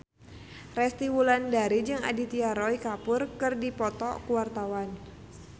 Resty Wulandari jeung Aditya Roy Kapoor keur dipoto ku wartawan